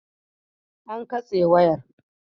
An katse wayar.